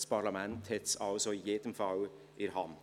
Das Parlament hat es also in jedem Fall in der Hand.